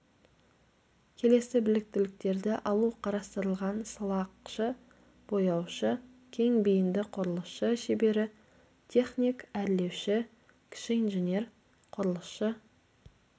келесі біліктіліктерді алу қарастырылған сылақшы бояушы кең бейінді құрылысшы шебері техник-әрлеуші кіші инженер құрылысшы